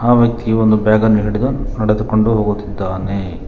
ಆ ವ್ಯಕ್ತಿ ಒಂದು ಬ್ಯಾಗ್ ಅನ್ನು ಹಿಡಿದು ನೆಡೆದುಕೊಂಡು ಹೋಗುತ್ತಿದ್ದಾನೆ.